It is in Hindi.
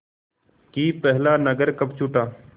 कि पहला नगर कब छूटा